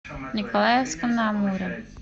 николаевском на амуре